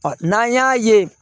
N'an y'a ye